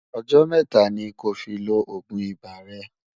ọ̀jò métà ní kò fí ló ògún ibà rè